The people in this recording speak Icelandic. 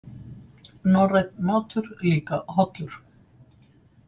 Norrænn matur líka hollur